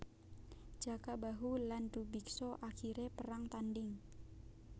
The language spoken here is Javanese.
Jaka Bahu lan Drubiksa akhire perang tanding